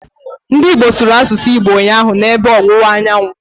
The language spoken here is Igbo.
Ndị Igbo sụrụ asụsụ Igbo ụnyaahụ, na ebe ọwụwa anyanwụ